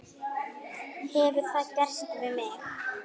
Hefur það gerst við mig?